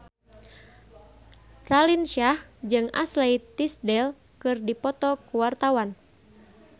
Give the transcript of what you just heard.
Raline Shah jeung Ashley Tisdale keur dipoto ku wartawan